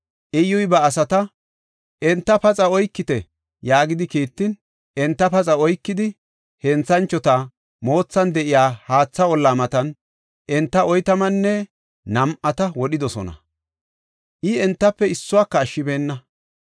Iyyuy ba asata, “Enta paxa oykite” yaagidi kiittin, enta paxa oykidi, henthanchota moothan de7iya haatha olla matan enta oytamanne nam7ata wodhidosona; I entafe issuwaka ashshibeenna.